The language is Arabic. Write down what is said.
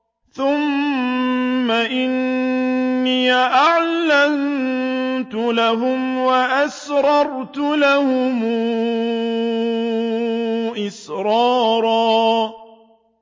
ثُمَّ إِنِّي أَعْلَنتُ لَهُمْ وَأَسْرَرْتُ لَهُمْ إِسْرَارًا